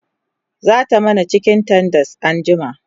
zata mana cikin tenders anjima